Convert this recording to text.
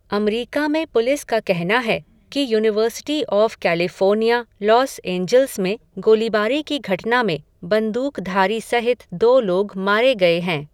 अमरीका में पुलिस का कहना है, कि university of California Los Angeles में गोलीबारी की घटना में, बंदूक़धारी सहित, दो लोग मारे गए हैं.